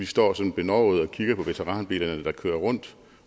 står sådan benovede og kigger på veteranbilerne der kører rundt